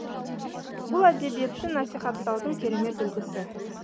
бұл әдебиетті насихаттаудың керемет үлгісі